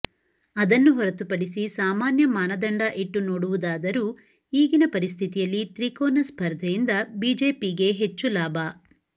ಅದನ್ನು ಹೊರತುಪಡಿಸಿ ಸಾಮಾನ್ಯ ಮಾನದಂಡ ಇಟ್ಟು ನೋಡುವುದಾದರೂ ಈಗಿನ ಪರಿಸ್ಥಿತಿಯಲ್ಲಿ ತ್ರಿಕೋನ ಸ್ಪರ್ಧೆಯಿಂದ ಬಿಜೆಪಿಗೆ ಹೆಚ್ಚು ಲಾಭ